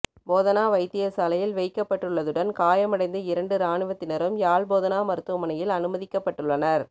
போதனா வைத்தியசாலையில் வைக்கப்பட்டுள்ளதுடன் காயமடைந்த இரண்டு இராணுவத்தினரும் யாழ்போதனா மருத்துவமனையில் அனுமதிக்கப்பட்டுள்ளனர்